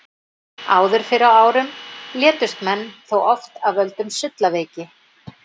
Áður fyrr á árum létust menn þó oft af völdum sullaveiki.